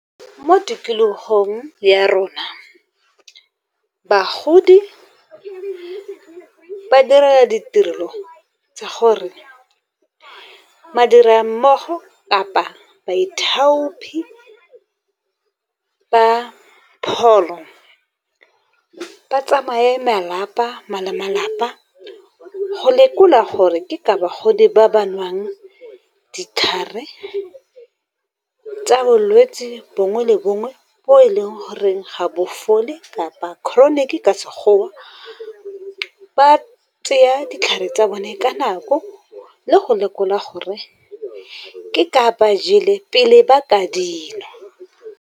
Mo tikologong ya rona bagodi ba dira ditirelo tsa gore badirammogo kapa baithaopi ba pholo, ba tsamaye malapa go lekola gore ke ka bagodi ba ba nwang ditlhare, tsa bolwetse bongwe le bongwe bo e leng gore ga bo fole kapa chronic ka Sekgowa. Ba tseye ditlhare tsa bone ka nako le go lekola gore ke ka ba jele pele ba ka di nwa.